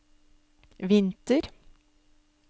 vinter